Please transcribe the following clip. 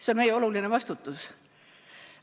See on meie oluline vastutus.